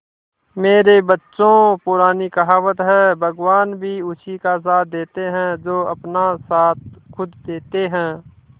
मेरे बच्चों पुरानी कहावत है भगवान भी उसी का साथ देते है जो अपना साथ खुद देते है